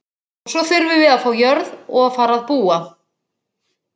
Og svo þurfum við að fá jörð og fara að búa.